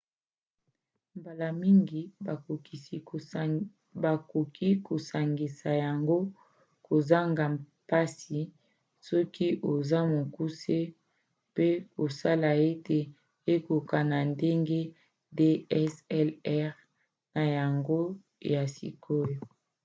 mbala mingi bakoki kosangisa yango kozanga mpasi soki oza mokuse mpe kosala ete ekokona na ndenge dslr na yango ya sikoyo